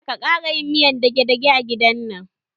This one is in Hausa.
Kada ka ƙara yin miyan dage-dage a gidan man!